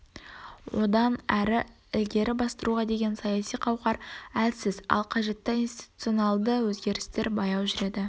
одан әрі ілгері бастыруға деген саяси қауқар әлсіз ал қажетті институциональді өзгерістер баяу жүреді